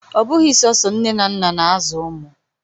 Ọ bụghị sọsọ nne na nna na-azụ ụmụ.